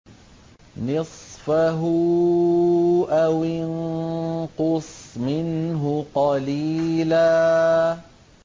نِّصْفَهُ أَوِ انقُصْ مِنْهُ قَلِيلًا